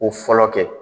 Ko fɔlɔ kɛ